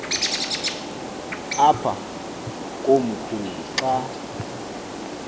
apha komkhulu xa